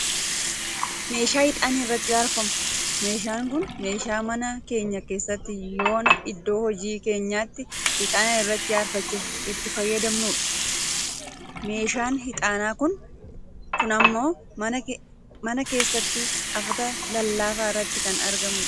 meeshaa ixaanni irratti aarfamu. meeshaan kun meeshaa mana keenya kkeessatti yooaan iddoo hojii keenyaatti ixaana irratti aarfachuuf itti fayyyadamnudha. meeshaan ixaanaa kun ammoo mana eessatti afata llafaa irratti kan argamudha.